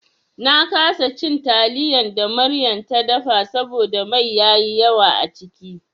Na kasa cin taliyan da Maryam ta dafa saboda mai yayi yawa a ciki.